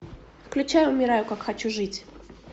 включай умираю как хочу жить